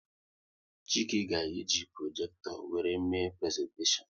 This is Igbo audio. Chike ga-eji projekto wéré mee prezentashion